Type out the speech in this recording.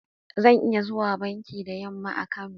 Zan iya zuwa banki da yamma a Kano?